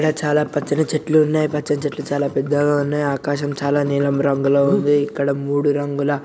చాలా పచ్చని చెట్లు ఉన్నాయి పచ్చని చెట్లు చాలా పెద్దగా ఉన్నాయి. ఆకాశం చాలా నీలం రంగులో ఉంది. ఇక్కడ మూడు రంగుల--